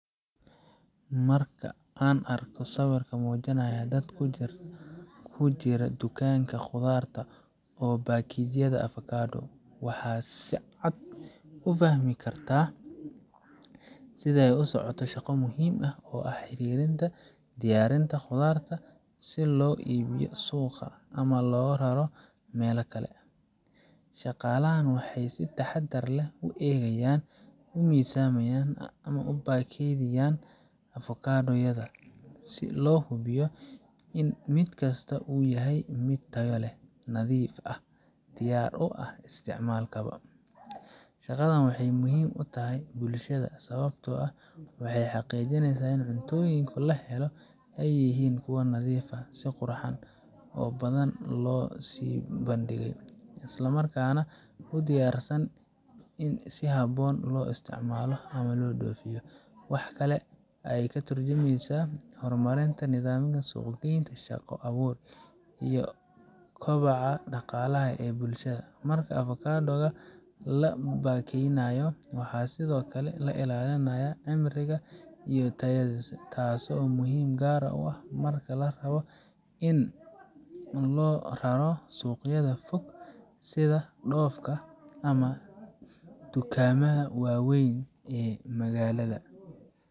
Marka aan aragno sawirka muujinaya dad ku jira dukaanka khudaarta oo baakayaynaya avocado, waxa aan si cad u fahmi karnaa in ay socoto shaqo muhiim ah oo la xiriirta diyaarinta khudaarta si loogu iibiyo suuqa ama loo raro meel kale. Shaqaalahan waxay si taxaddar leh u eegayaan, u miisaamayaan, una baakayaynayaan avocado yada si loo hubiyo in mid kasta uu yahay mid tayo leh, nadiif ah, oo diyaar u ah isticmaalka macaamiisha. Shaqadan waxay muhiim u tahay bulshada sababtoo ah waxay xaqiijineysaa in cuntooyinka la helo ay yihiin kuwo nadiif ah, si qurux badan loo soo bandhigay, islamarkaana u diyaarsan in si habboon loo isticmaalo ama loo dhoofiyo. Waxa kale oo ay ka tarjumaysaa horumarinta nidaamka suuq geynta, shaqo abuur, iyo kobaca dhaqaalaha ee bulshada. Marka avocado ga la baakayaynayo, waxaa sidoo kale la ilaalinayaa cimrigiisa iyo tayadiisa, taasoo muhiim ah gaar ahaan marka la rabo in loo raro suuqyada fog sida dhoofka ama dukaamada waaweyn ee magaalada.